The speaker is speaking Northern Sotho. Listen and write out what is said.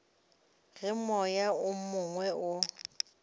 ge moya o mongwe o